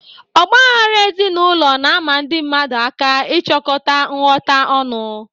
Ọgba aghara ezinụlọ na-ama ndị mmadụ aka ịchọkọta ngwọta ọnụ.